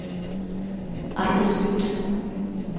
Ejner Skøtt